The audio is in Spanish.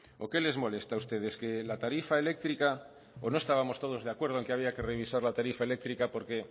o qué les molesta a ustedes que la tarifa eléctrica o no estábamos todos de acuerdo en que había que revisar la tarifa eléctrica porque